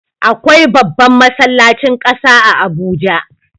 Akwai babban masallacin ƙasa a Abuja.